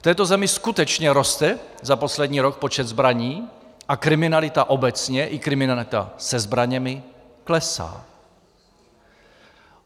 V této zemi skutečně roste za poslední rok počet zbraní a kriminalita obecně i kriminalita se zbraněmi klesá.